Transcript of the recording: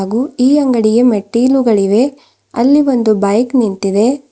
ಹಾಗು ಈ ಅಂಗಡಿಗೆ ಮೆಟ್ಟಿಲುಗಳಿವೆ ಅಲ್ಲಿ ಒಂದು ಬೈಕ್ ನಿಂತಿದೆ.